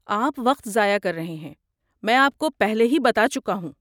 آپ وقت ضائع کر رہے ہیں، میں آپ کو پہلے ہی بتا چکا ہوں۔